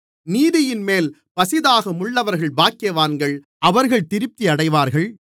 நீதியின்மேல் பசிதாகமுள்ளவர்கள் பாக்கியவான்கள் அவர்கள் திருப்தியடைவார்கள்